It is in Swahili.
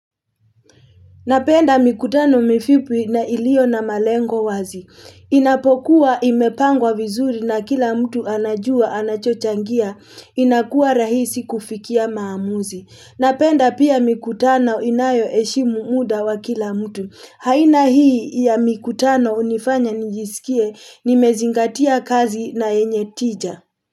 Napenda mikutano mifipi na ilio na malengo wazi. Inapokuwa imepangwa vizuri na kila mtu anajua anachochangia inakuwa rahisi kufikia maamuzi. Napenda pia mikutano inayo heshimu muda wa kila mtu. Aina hii ya mikutano hunifanya nijisikie nimezingatia kazi na yenye tija.